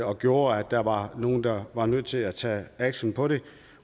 og gjorde at der var nogle der var nødt til at tage action på det